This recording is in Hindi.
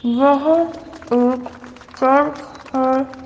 वह एक चर्च है।